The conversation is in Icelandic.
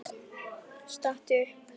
Stattu upp!